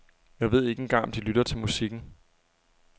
Jeg ved ikke engang om de lytter til musikken.